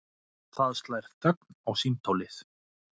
Það slær þögn á símtólið.